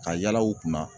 Ka yala u kunna